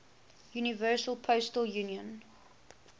universal postal union